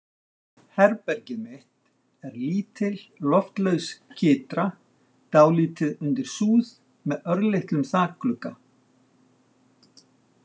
Herbergið mitt er lítil, loftlaus kytra, dálítið undir súð, með örlitlum þakglugga.